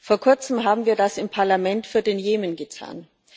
Vor Kurzem haben wir das im Parlament für den Jemen getan.